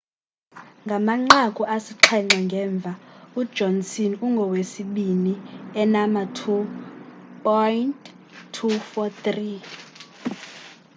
ngamanqaku asixhenxe ngemva ujohnson ungowesibini enama 2,243